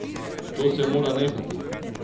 To se mora nehati!